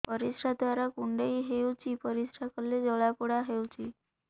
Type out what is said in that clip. ପରିଶ୍ରା ଦ୍ୱାର କୁଣ୍ଡେଇ ହେଉଚି ପରିଶ୍ରା କଲେ ଜଳାପୋଡା ହେଉଛି